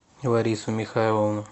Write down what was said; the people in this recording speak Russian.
ларису михайловну